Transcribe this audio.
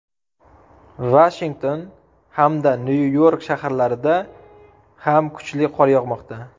Vashington hamda Nyu-York shaharlarida ham kuchli qor yog‘moqda.